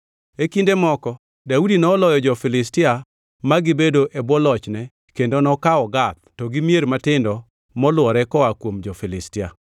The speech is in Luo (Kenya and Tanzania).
E kinde moko, Daudi noloyo jo-Filistia ma gibedo e bwo lochne kendo nokawo Gath to gi mier matindo molwore koa kuom jo-Filistia.